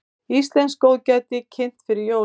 Íslenskt góðgæti kynnt fyrir jólin